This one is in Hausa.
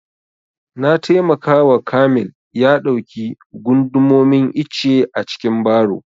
Na taimaka wa kamil ya ɗauki gundumomin icce a cikin baro